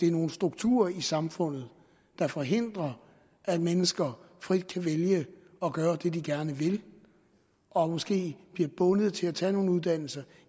er nogle strukturer i samfundet der forhindrer at mennesker frit kan vælge at gøre det de gerne vil og måske bliver de bundet til at tage nogle uddannelser